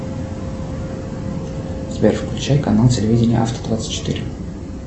сбер включай канал телевидения авто двадцать четыре